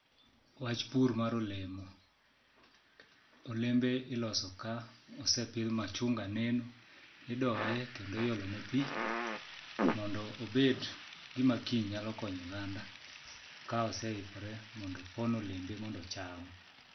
Wach pur mar olemo. Olembe iloso ka osepidh machunga neno, idoye kendo iolone pi mondo obed gima kiny nyalo konyo oganda ka oseikore mondo opon olembe mondo ocham.